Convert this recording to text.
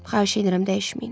Xahiş edirəm dəyişməyin.